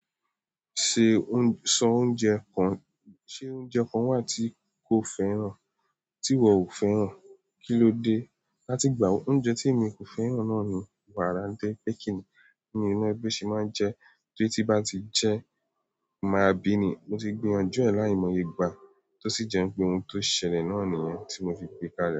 Ṣé oúnjẹ, sọ oúnjẹ kan, ṣé oúnjẹ kan wà tí ò fẹ́ràn, tí ìwọ ò fẹ́ràn, kí ló dé? Láti ìgbà wo? Oúnjẹ tí èmi kò fẹ́ràn náà ni wàrà nitoripe kíní, mii mo bi won se maa n je, torí ti n ba ti je n máa bíi ni. Mo ti gbìyànjú e láìmọye igbá, tó sì jẹ pé ohun tó ṣẹlẹ̀ náà nìyẹn tí mo fi gbé kále.